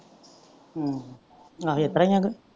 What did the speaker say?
ਹਮ ਆਹੋ ਇਸਤਰਾਂ ਈ ਆ ਕੇ ।